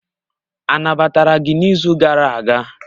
Anabatara gị n'izu gara aga?